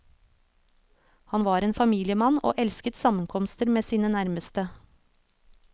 Han var en familiemann og elsket sammenkomster med sine nærmeste.